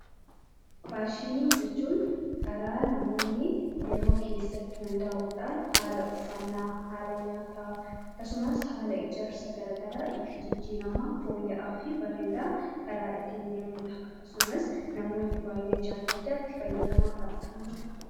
Faashinii jechuun karaa namoonni yeroo keessatti hundaa’udhaan haala uffannaa, haala nyaataa akkasumas haala ijaarsa gara garaa itti jijjiiramaa, fooyya'aa fi bareedaa ittiin deemudha. Akkasumas namoonni baay'ee jaallachaa itti fayyadamaa kan dhufanidha.